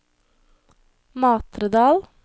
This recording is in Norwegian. Matredal